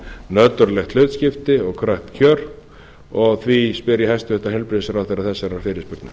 nöturleg hlutskipti og kröpp kjör og því spyr ég hæstvirtan heilbrigðisráðherra þessarar fyrirspurnar